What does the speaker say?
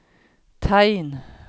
tegn